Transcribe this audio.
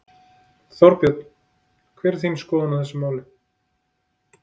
Þorbjörn: Hver er þín skoðun á þessu máli?